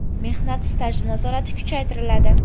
Mehnat staji nazorati kuchaytiriladi.